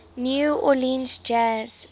new orleans jazz